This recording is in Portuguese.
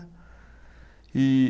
E